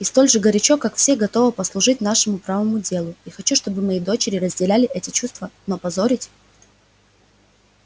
и столь же горячо как все готова послужить нашему правому делу я хочу чтобы мои дочери разделяли эти чувства но позорить